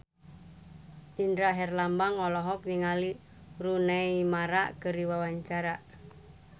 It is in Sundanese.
Indra Herlambang olohok ningali Rooney Mara keur diwawancara